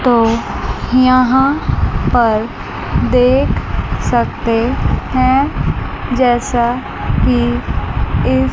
तो यहां पर देख सकते हैं जैसा कि इस--